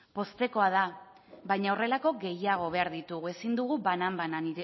poztekoa da baina horrelako gehiago behar ditugu ezin dugu banan banan